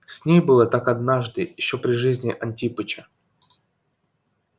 с ней было так однажды ещё при жизни антипыча